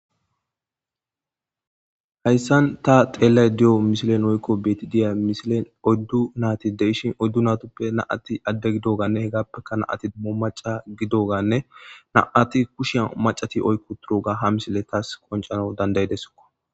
Hayssan ta xeellayde diyo misilen oykko be7ayede diya misilen oddu naati de7ishin oddu natoppe naati adde gidoganne hegappeka naati dummo maca gidoganne na7ati kushiya macati oyqqo uttidoga ha misile taas qonccisnaw danda7idessokko.